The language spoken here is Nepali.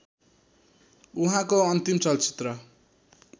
उहाँको अन्तिम चलचित्र